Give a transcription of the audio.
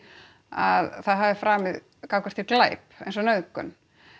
að það hafi framið gagnvart þér glæp eins og nauðgun